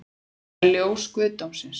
Ég meina ljós guðdómsins